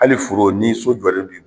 ali foro ni sojɔlen b'i bolo.